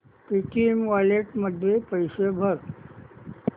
Paytm wallet मध्ये पैसे भर